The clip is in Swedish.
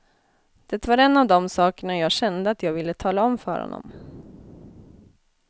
Det var en av de sakerna jag kände att jag ville tala om för honom.